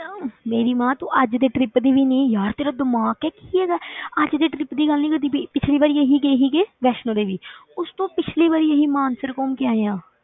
ਮੇਰੀ ਮਾਂ ਤੂੰ ਅੱਜ ਦੇ trip ਦੀ ਨੀ ਨੀ ਯਾਰ ਤੇਰਾ ਦਿਮਾਗ ਹੈ ਕਿ ਕੀ ਹੈਗਾ ਅੱਜ ਦੇ trip ਦੀ ਗੱਲ ਨੀ ਕਰਦੀ ਪਈ, ਪਿੱਛਲੀ ਵਾਰੀ ਅਸੀਂ ਗਏ ਸੀਗੇ ਵੈਸ਼ਨੋ ਦੇਵੀ ਉਸ ਤੋਂ ਪਿੱਛਲੀ ਵਾਰੀ ਅਸੀਂ ਮਾਨਸਰ ਘੁੰਮ ਕੇ ਆਏ ਹਾਂ।